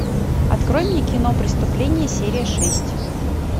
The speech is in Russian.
открой мне кино преступление серия шесть